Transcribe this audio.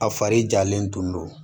A fari jalen tun don